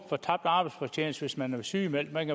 for tabt arbejdsfortjeneste hvis man er sygemeldt man